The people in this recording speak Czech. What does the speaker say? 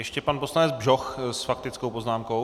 Ještě pan poslanec Bžoch s faktickou poznámkou.